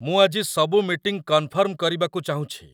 ମୁଁ ଆଜି ସବୁ ମିଟିଂ କନ୍ଫର୍ମ୍ କରିବାକୁ ଚାହୁଁଛି